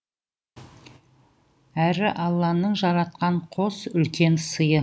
әрі алланың жаратқан қос үлкен сыйы